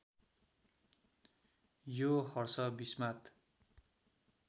यो हर्ष विस्मात